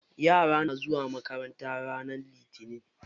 Yara na zuwa makaranta ranar litinin.